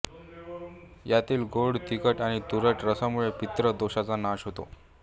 यातील गोड तिखट आणि तुरट रसांमुळे पित्त दोषाचा नाश होतो